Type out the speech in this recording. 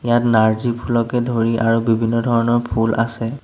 ইয়াত নাৰ্জিফুলকে ধৰি আৰু বিভিন্ন ধৰণৰ ফুল আছে।